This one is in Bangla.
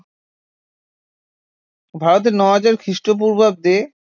ভারতে নয় হাজার খ্রিস্টপূর্বাব্দে